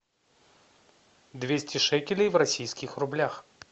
двести шекелей в российских рублях